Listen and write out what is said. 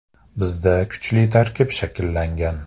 “Bizda kuchli tarkib shakllangan.